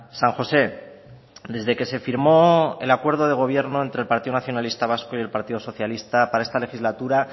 san josé desde que se firmó el acuerdo de gobierno entre el partido nacionalista vasco y el partido socialista para esta legislatura